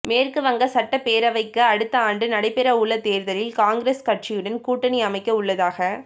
மேற்கு வங்க சட்டப் பேரவைக்கு அடுத்த ஆண்டு நடைபெறவுள்ள தோ்தலில் காங்கிரஸ் கட்சியுடன் கூட்டணி அமைக்கவுள்ளதாக